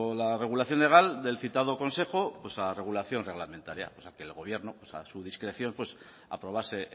la regulación legal del citado consejo pues a regulación reglamentaria o sea que el gobierno pues a su discreción pues aprobase